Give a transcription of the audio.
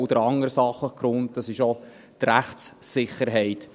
Und der andere sachliche Grund ist auch die Rechtssicherheit.